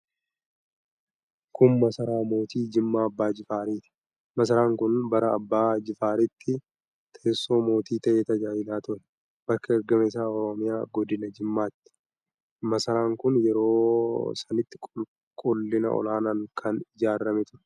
Kun masaraa mootii Jimmaa Abbaa Jifaaari. Masaraan kun bara Abbaa Jifaaritti teessoo mootii ta'ee tajaajilaa ture. Bakki argama isaa Oromiyaa, godina Jimmaati. Masaraan kun yeroo sanitti qulqullina olaaanaan kan ijaarame ture.